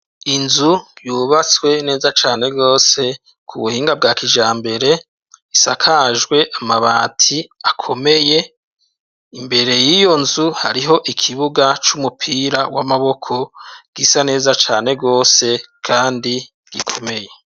Inzu yubatswe neza cane rwose, ku buhinga bwa kijambere, isakajwe amabati akomeye; imbere y'iyo nzu, hariho ikibuga c'umupira w'amaboko gisa neza cane rwose, kandi gikomeye.